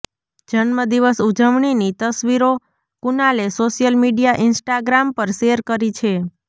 જન્મદિવસ ઉજવણીની તસવીરો કુનાલે સોશિયલ મીડિયા ઇન્સ્ટાગ્રામ પર શેર કરી છે